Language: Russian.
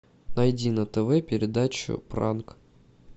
найди на тв передачу пранк